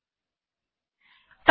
টার্মিনালে গেলাম